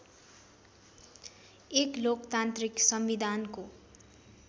एक लोकतान्त्रिक संविधानको